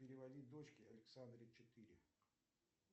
переводи дочке александре четыре